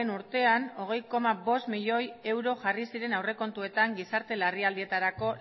urtean hogei koma bost milioi euro jarri ziren aurrekontuetan gizarte larrialdietarako